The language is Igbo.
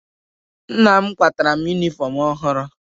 Nna m kwataara m yunifọmụ ọhụrụ.